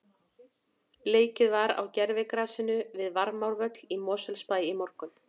Leikið var á gervigrasinu við Varmárvöll í Mosfellsbæ í morgun.